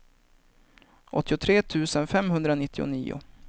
åttiotre tusen femhundranittionio